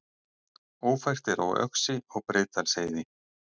Ófært er á Öxi og Breiðdalsheiði